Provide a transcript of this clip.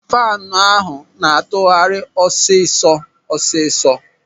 Faanu ahụ na-atụgharị ọsịsọ ọsịsọ.